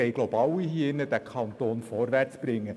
Wir alle hier im Saal wollen wohl den Kanton vorwärtsbringen.